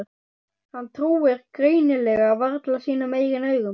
Hann trúir greinilega varla sínum eigin augum.